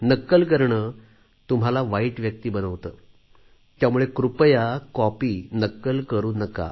नक्कल करणे तुम्हाला वाईट व्यक्ती बनवते त्यामुळे कृपया कॉपी नक्कल करू नका